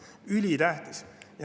See on ülitähtis.